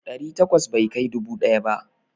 Ɗari takwas bai kai dubu ɗaya ba.